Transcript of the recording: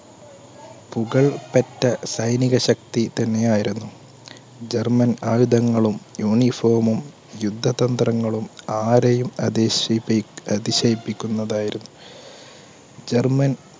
പുകൾ പെറ്റ സൈനികശക്തി തന്നെ ആയിരുന്നു. german ആയുധങ്ങളും, uniform മും, യുദ്ധതന്ത്രങ്ങളും ആരെയും അതിശയിപ്പി~അതിശയിപ്പിക്കുന്നതായിരുന്നു. german